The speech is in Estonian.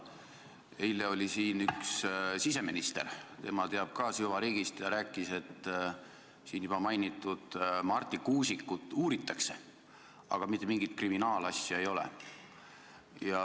Eile oli siin üks siseminister, tema teab ka süvariiki ja rääkis, et siin juba mainitud Marti Kuusikut uuritakse, aga mitte mingit kriminaalasja ei ole.